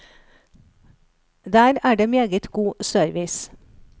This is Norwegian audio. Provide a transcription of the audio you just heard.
Der er det meget god service.